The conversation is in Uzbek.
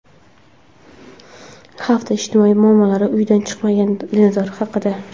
Hafta ijtimoiy muammolari: Uydan chiqqan dinozavr haqida.